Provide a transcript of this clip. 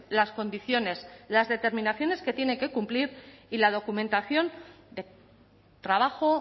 las condiciones las determinaciones que tiene que cumplir y la documentación de trabajo